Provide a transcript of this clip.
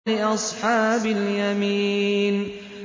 لِّأَصْحَابِ الْيَمِينِ